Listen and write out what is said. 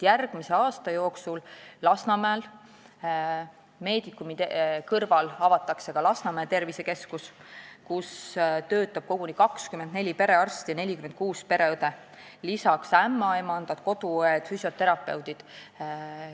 Järgmise aasta jooksul avatakse Lasnamäel Medicumi kõrval ka Lasnamäe tervisekeskus, kus hakkab tööle koguni 24 perearsti ja 46 pereõde, lisaks ämmaemandad, koduõed ja füsioterapeudid.